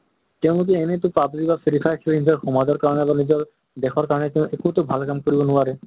তেওঁলোকে এনে তো PUBG বা free fire খেলি নিজৰ সমাজৰ কাৰণে বা নিজৰ দেশৰ কাৰণে একোতো ভাল কাম কৰিব নোৱাৰে।